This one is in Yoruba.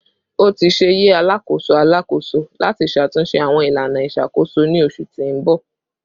O ti ṣe yẹ Alakoso Alakoso lati ṣatunṣe awọn ilana iṣakoso ni oṣu ti n bọ